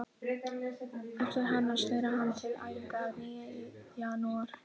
Eftir hana snéri hann til æfinga að nýju í janúar.